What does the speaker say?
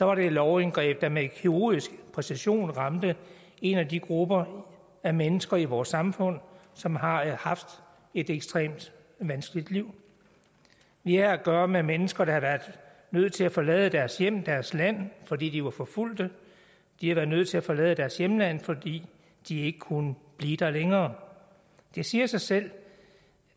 var det et lovindgreb der med kirurgisk præcision ramte en af de grupper af mennesker i vores samfund som har haft et ekstremt vanskeligt liv vi har at gøre med mennesker der har været nødt til at forlade deres hjem deres land fordi de var forfulgte de har været nødt til at forlade deres hjemland fordi de ikke kunne blive der længere det siger sig selv